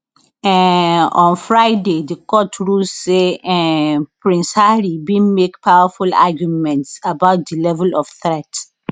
um on friday di court rule say um prince harry bin make powerful arguments about di level of threat